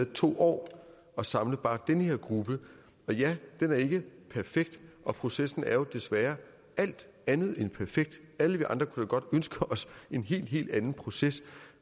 to år at samle bare den her gruppe og ja den er ikke perfekt og processen er jo desværre alt andet end perfekt alle vi andre kunne da godt ønske os en helt helt anden proces